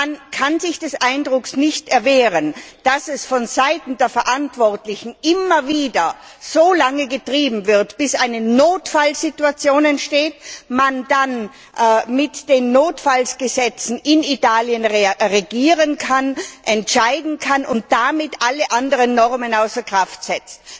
Man kann sich des Eindrucks nicht erwehren, dass es vonseiten der Verantwortlichen immer wieder so lange getrieben wird, bis eine Notfallsituation entsteht, man dann mit den Notfallgesetzen in Italien regieren kann, entscheiden kann und damit alle anderen Normen außer Kraft setzt.